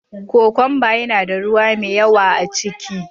Kokwamba yana da ruwa mai yawa a ciki.